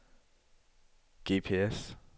GPS